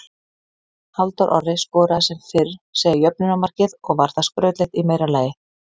Halldór Orri skoraði sem fyrr segir jöfnunarmarkið og var það skrautlegt í meira lagi.